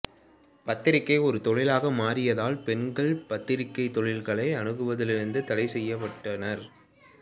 பத்திரிகை ஒரு தொழிலாக மாறியதால் பெண்கள் பத்திரிகைத் தொழில்களை அணுகுவதிலிருந்து தடைசெய்யப்பட்டனர்